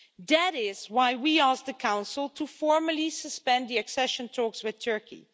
That is why we asked the Council to formally suspend the accession talks with Turkey.